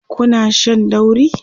Kuna Shan dauri?